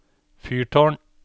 fyrtårn